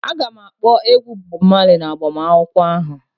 A ga-akpọ egwu Bob Marley na agbamakwụkwọ ahụ